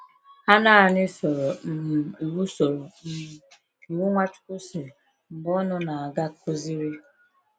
Ha nanị soro um iwu soro um iwu Nwachukwu si: “Mgbe unu na-aga, kụziri.”